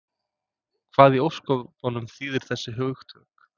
Hvað í ósköpunum þýða þessi hugtök?